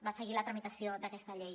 va seguir la tramitació d’aquesta llei